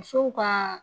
Musow ka